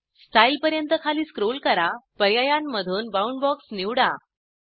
style पर्यंत खाली scroll करा पर्यायामधून बाउंडबॉक्स निवडा